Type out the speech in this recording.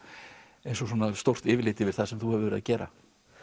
eins og stórt yfirlit yfir það sem þú hefur verið að gera